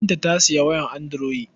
Binta ta sayi waya anduroyi.